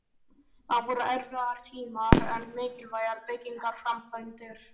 Þá voru erfiðir tímar en miklar byggingaframkvæmdir.